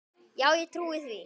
Já ég trúi því.